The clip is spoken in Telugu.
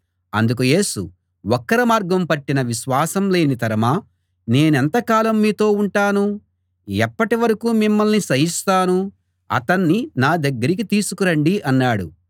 అందుకు యేసు వక్ర మార్గం పట్టిన విశ్వాసం లేని తరమా నేనెంత కాలం మీతో ఉంటాను ఎప్పటి వరకూ మిమ్మల్ని సహిస్తాను అతణ్ణి నా దగ్గరికి తీసుకు రండి అన్నాడు